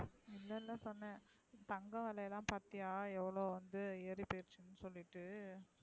இல்ல இல்ல சொன்னேன். தங்க விலை எல்லாம் பாத்தியா எவ்ளோ வந்து ஏறிப்போச்சுன்னு சொல்லிட்டு.